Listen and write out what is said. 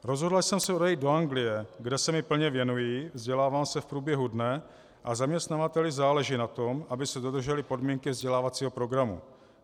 Rozhodla jsem se odejít do Anglie, kde se mi plně věnují, vzdělávám se v průběhu dne a zaměstnavateli záleží na tom, aby se dodržely podmínky vzdělávacího programu.